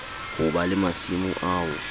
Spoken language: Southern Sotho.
ho ba le masimo ao